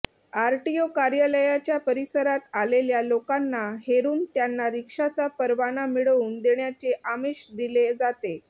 RTO कार्यालयाच्या परिसरात आलेल्या लोकांना हेरून त्यांना रिक्षाचा परवाना मिळवून देण्याचे आमिष दिले जाते